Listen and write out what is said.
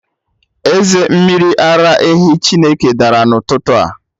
Eze mmiri ara ehi Chineke dara n'ụtụtụ a